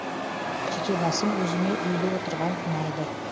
жеке басым өзіме үйде отырған ұнайды